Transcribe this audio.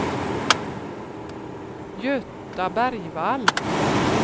Göta Bergvall